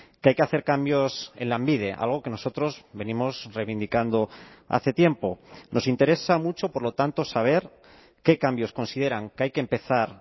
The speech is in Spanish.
que hay que hacer cambios en lanbide algo que nosotros venimos reivindicando hace tiempo nos interesa mucho por lo tanto saber qué cambios consideran que hay que empezar